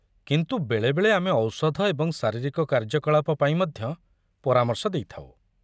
କିନ୍ତୁ ବେଳେବେଳେ ଆମେ ଔଷଧ ଏବଂ ଶାରୀରିକ କାର୍ଯ୍ୟକଳାପ ପାଇଁ ମଧ୍ୟ ପରାମର୍ଶ ଦେଇଥାଉ ।